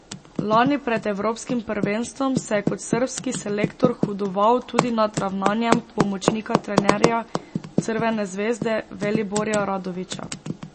Lani pred evropskim prvenstvom se je kot srbski selektor hudoval tudi nad ravnanjem pomočnika trenerja Crvene zvezde Veliborja Radovića.